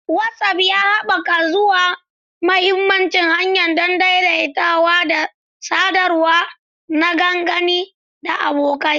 WhatsApp ya haɓaka zuwa mahimman hanya don daidaitawa da sadarwa na dangi da abokai.